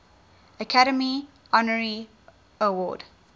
academy honorary award